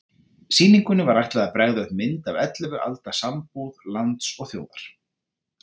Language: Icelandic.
Sýningunni var ætlað að bregða upp mynd af ellefu alda sambúð lands og þjóðar.